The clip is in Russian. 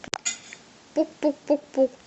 пук пук пук пук